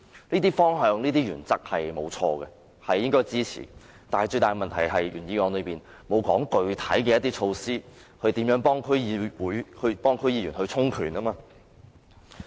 這些方向和原則是正確的，應予以支持，但最大的問題是，原議案並沒有提出具體措施協助區議員充權。